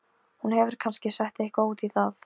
Hún hefur kannski sett eitthvað út í það.